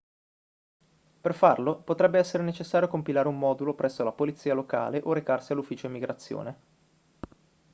per farlo potrebbe essere necessario compilare un modulo presso la polizia locale o recarsi all'ufficio immigrazione